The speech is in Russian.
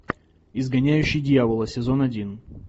изгоняющий дьявола сезон один